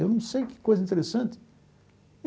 Eu não sei que coisa interessante.